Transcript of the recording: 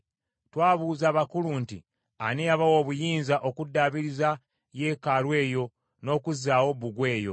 Twabuuza abakulu nti, “Ani eyabawa obuyinza okuddaabiriza yeekaalu eyo n’okuzzaawo bbugwe oyo?”